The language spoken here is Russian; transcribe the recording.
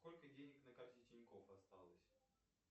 сколько денег на карте тинькофф осталось